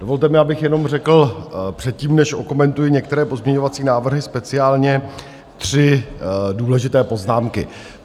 Dovolte mi, abych jenom řekl předtím, než okomentuji některé pozměňovací návrhy, speciálně tři důležité poznámky.